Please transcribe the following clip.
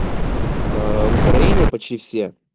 аа в украине почти все